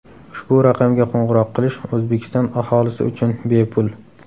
Ushbu raqamga qo‘ng‘iroq qilish O‘zbekiston aholisi uchun bepul.